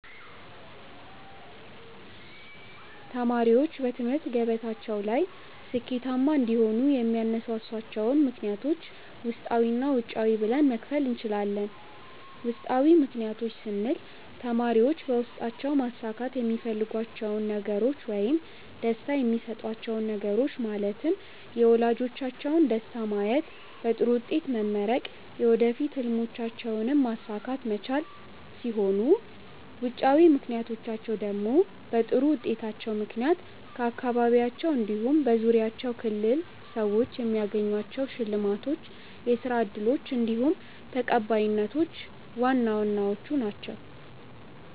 ተማሪዎች በትምህርት ገበታቸው ላይ ስኬታማ እንዲሆኑ የሚያነሳሷቸውን ምክንያቶች ውስጣዊ እና ውጫዊ ብለን መክፈል እንችላለን። ውስጣዊ ምክንያቶች ስንል ተማሪዎች በውስጣቸው ማሳካት የሚፈልጓቸውን ነገሮች ውይም ደስታ የሚሰጧቹው ነገሮች ማለትም የወላጆቻቸውን ደስታ ማየት፣ በጥሩ ውጤት መመረቅ፣ የወደፊት ህልሞቻቸውንም ማሳካት መቻል ሲሆኑ ውጫዊ ምክንያቶቻቸው ደግሞ በጥሩ ውጤታቸው ምክንያት ከአካባቢያቸው እንዲሁም በዙሪያቸው ክልል ሰዎች የሚያገኟቸው ሽልማቶች፣ የስራ እድሎች እንዲሁም ተቀባይነቶች ዋና ዋናዎቹ ናችው።